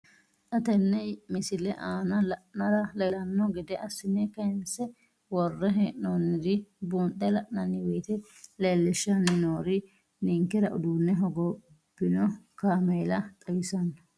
Xa tenne missile aana la'nara leellanno gede assine kayiinse worre hee'noonniri buunxe la'nanni woyiite leellishshanni noori ninkera uduunne hogobbino kaameella xawissanno.